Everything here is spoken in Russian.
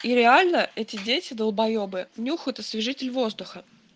и реально эти дети долбоебы нюхают освежитель воздуха